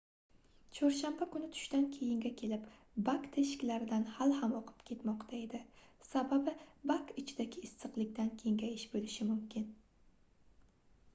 chorshanba kuni tushdan keyinga kelib bak teshikaridan hali ham oqib ketmoqda edi sababi bak ichidagi issiqlikdan kengayish boʻlishi mumkin